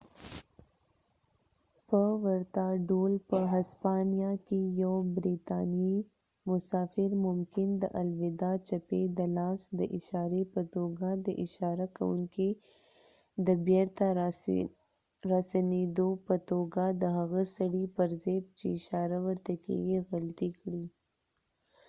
په ورته ډول، په هسپانیا کې یو بریتانیایی مسافر ممکن د الوداع چپې د لاس د اشارې په توګه د اشاره کونکي د بیرته راسنیدو په توګه د هغه سړي پر ځای چې اشاره ورته کیږي غلطي کړي